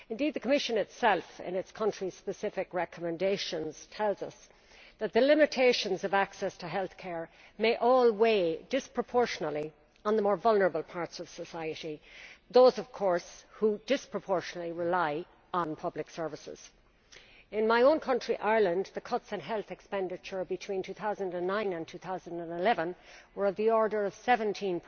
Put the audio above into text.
The Commission itself, in its country specific recommendations, tells us that limitations on access to healthcare may weigh disproportionately on the more vulnerable sections of society, the people who rely disproportionately on public services. In my own country, Ireland, the cuts in health expenditure between 2009 and 2011 were of the order of 17